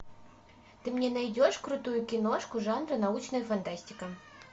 ты мне найдешь крутую киношку жанра научная фантастика